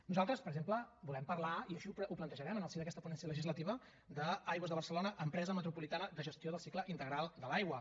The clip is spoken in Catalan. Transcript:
nosaltres per exemple volem parlar i així ho plantejarem en el si d’aquesta ponència legislativa d’aigües de barcelona empresa metropolitana de gestió del cicle integral de l’aigua